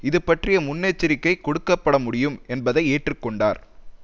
இது பற்றிய முன்னெச்சரிக்கை கொடுக்க பட முடியும் என்பதை ஏற்றுக்கொண்டார்